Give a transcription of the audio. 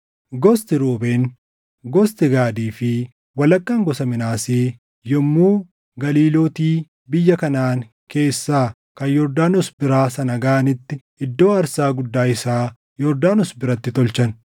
Gosti Ruubeen, gostii Gaadii fi walakkaan gosa Minaasee yommuu Galiilooti biyya Kanaʼaan keessaa kan Yordaanos biraa sana gaʼanitti, iddoo aarsaa guddaa isaa Yordaanos biratti tolchan.